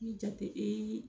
Ni jate ee